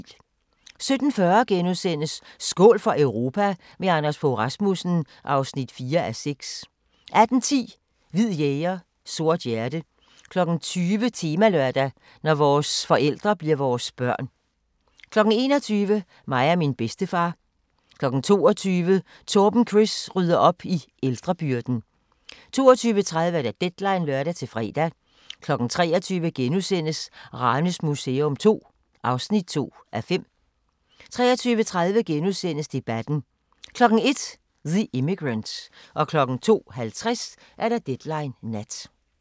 17:40: Skål for Europa – med Anders Fogh Rasmussen (4:6)* 18:10: Hvid jæger, sort hjerte 20:00: Temalørdag: Når vores forældre bliver vores børn 21:00: Mig og min bedstefar 22:00: Torben Chris rydder op i ældrebyrden 22:30: Deadline (lør-fre) 23:00: Ranes Museum II (2:5)* 23:30: Debatten * 01:00: The Immigrant 02:50: Deadline Nat